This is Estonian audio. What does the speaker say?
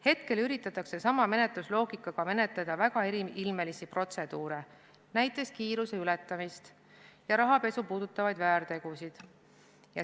Hetkel üritatakse sama menetlusloogikaga menetleda väga eriilmelisi protseduure, näiteks kiiruse ületamist ja rahapesu puudutavaid väärtegusid.